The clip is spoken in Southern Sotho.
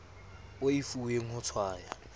o e fuweng ho tshwaya